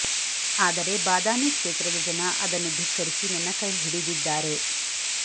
ಆದರೆ ಬಾದಾಮಿ ಕ್ಷೇತ್ರದ ಜನ ಅದನ್ನು ಧಿಕ್ಕರಿಸಿ ನನ್ನ ಕೈ ಹಿಡಿದಿದ್ದಾರೆ